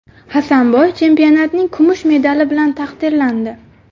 Hasanboy chempionatning kumush medali bilan taqdirlandi.